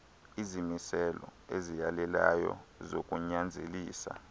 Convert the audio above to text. izimiselo eziyalelayo zokunyanzelisa